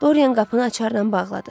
Doryan qapını açarla bağladı.